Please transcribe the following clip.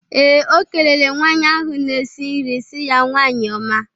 Ee, O kelele nwaanyị ahụ na-esi nri si ya "nwanyi ọma"